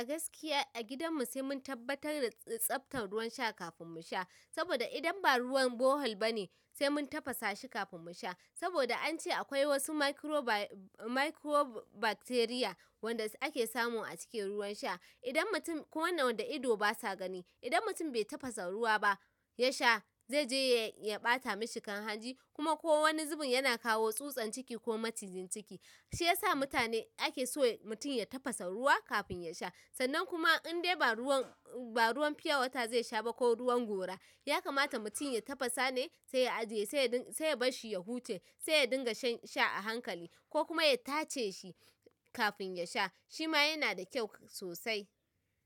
A gaskiya a gidan mu sai mun tabbatar da tsabtar ruwan sha kafin mu sha, saboda idan ba ruwan bohol ba ne sai mun tafasa shi kafin mu sha. Saboda an ce akwai wasu microbe- microbacteria wanda ake samu a cikin ruwan sha. Idan mutum ko wannan da ido ba sa gani, idan mutum bai tafasa ruwa ba ya sha zai je ya ɓata mashi kan hanji kuma ko wani zubin yana kawo tsutsan ciki ko macijin ciki. Shi ya sa mutane ake so mutum ya tafasa ruwa kafin ya sha. Sannan kuma indai ba ruwan, ba ruwan fiyawata zai sha ba ko ruwan gora, ya kamata mutum ya tafasa ne sai ya ajiye sai ya ɗin- sai ya bar shi ya huce sai ya dinga shan sha a hankali ko kuma ya tace shi kafin ya sha. Shi ma yana da kyau sosai.